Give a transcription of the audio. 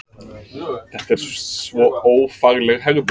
Þetta er svo ófagleg hegðun!